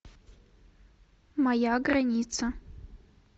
моя граница